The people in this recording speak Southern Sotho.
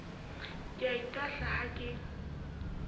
ke a itahla ha ke